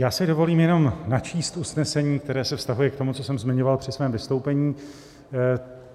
Já si dovolím jenom načíst usnesení, které se vztahuje k tomu, co jsem zmiňoval při svém vystoupení.